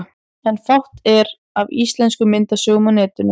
En fátt er af íslenskum myndasögum á netinu.